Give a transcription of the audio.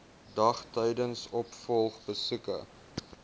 dag tydens opvolgbesoeke